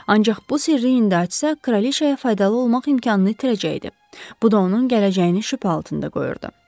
Ancaq bu sirri indi açsa, kraliçaya faydalı olmaq imkanını itirəcəkdi, bu da onun gələcəyini şübhə altında qoyurdu.